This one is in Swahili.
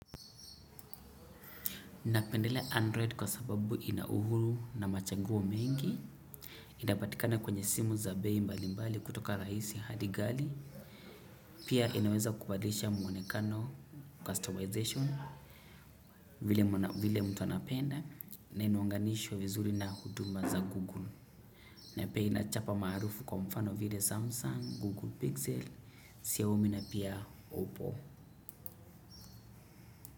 Napendelea Android kwa sababu inauhuru na machanguo mengi. Inapatikana kwenye simu za bei mbalimbali kutoka rahisi hadi ghali. Pia inaweza kubadilisha mwonekano customization vile mtu anapenda na inaunganishwa vizuri na huduma za Google. Napia inachapa maarufu kwa mfano vile Samsung, Google Pixel, Xiaomi na pia Oppo.